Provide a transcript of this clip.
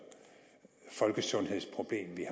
folkesundhedsproblem vi